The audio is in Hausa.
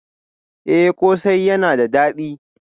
Eh kose yana da dadi